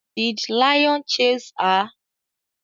Did lion chase her?